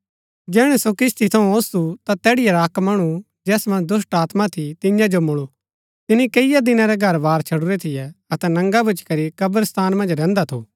जैहणै सो किस्ती थऊँ ओसु ता तैड़ीआ रा अक्क मणु जैस मन्ज दुष्‍टात्मा थी तियां जो मुळू तिनी कैईआ दिना रै घरवार छडुरै थियै अतै नंगा भूच्ची करी कब्रिस्तान मन्ज रैहन्दा थु